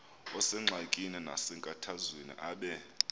osengxakini nasenkathazweni abe